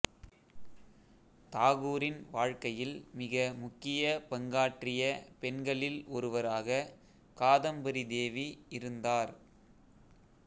தாகூரின் வாழ்க்கையில் மிக முக்கிய பங்காற்றிய பெண்களில் ஒருவராக காதம்பரி தேவி இருந்தார்